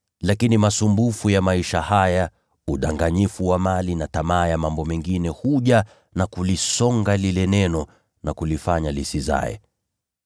lakini masumbufu ya maisha haya, na udanganyifu wa mali na tamaa ya mambo mengine huja na kulisonga lile neno na kulifanya lisizae.